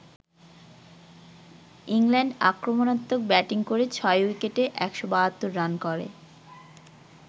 England আক্রমণাত্মক batting করে ৬ উইকেটে ১৭২ রান করে।